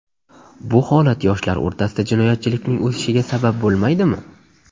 Bu holat yoshlar o‘rtasida jinoyatchilikning o‘sishiga sabab bo‘lmaydimi?